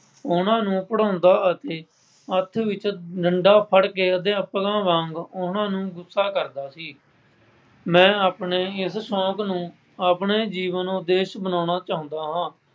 ਉਹਨਾ ਨੂੰ ਪੜ੍ਹਾਉਂਦਾ ਅਤੇ ਹੱਥ ਵਿੱਚ ਡੰਡਾ ਫੜ੍ਹ ਕੇ ਅਧਿਆਪਕਾਂ ਵਾਂਗ ਉਹਨਾ ਨੂੰ ਗੁੱਸਾ ਕਰਦਾ ਸੀ। ਮੈਂ ਆਪਣੇ ਇਸ ਸੌਂਕ ਨੂੰ ਆਪਣੇ ਜੀਵਨ ਨੂੰ ਉਦੇਸ਼ ਬਣਾਉਣਾ ਚਾਹੁੰਦਾ ਹਾਂ।